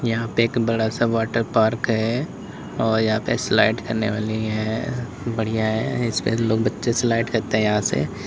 यहां पे एक बड़ा सा वाटर पार्क है और यहां पे स्लाइड करने वाली है बढ़िया है इसपे लोग बच्चे स्लाइड करते हैं यहां से।